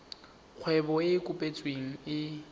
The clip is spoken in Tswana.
kgwebo e e kopetsweng e